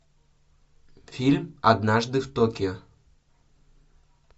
фильм однажды в токио